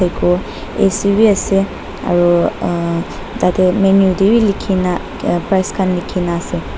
aru ac bi ase aru ah tate menu tewi likhina ah price khan likhina ase.